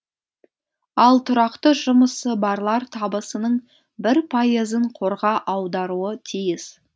ал тұрақты жұмысы барлар табысының бір пайызын қорға аударуы тиіс